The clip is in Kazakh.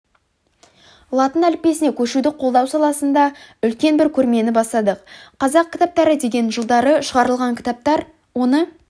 латын әліппесіне көшуді қолдау саласында үлкен бір көрмені бастадық қазақ кітаптары деген жылдары шығарылған кітаптар оны